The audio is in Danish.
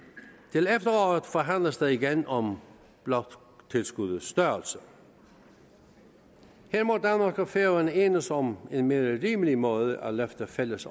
til efteråret forhandles der igen om bloktilskuddets størrelse her må danmark og færøerne enes om en mere rimelig måde at løfte fælles